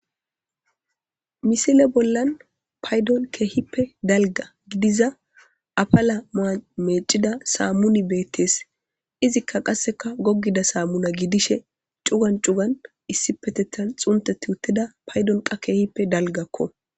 Misile bollan paydon keehippe dalga gidiza afala maa meecida saammuni beettes izikka qasseka goggida saammuna gidishe cugan cugan issipetethan xunteti uttida paydon qa keehippe dalgakko